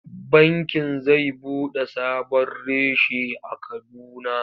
Bankin zai buɗe sabon reshe a Kaduna.